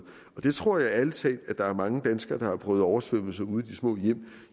jeg tror ærlig talt at der er mange danskere der har prøvet oversvømmelser ude i de små hjem